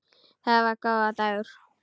Þetta var góður dagur.